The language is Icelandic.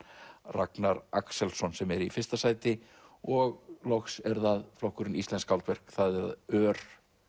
Ragnar Axelsson sem er í fyrsta sæti og loks er það flokkurinn íslensk skáldverk það ör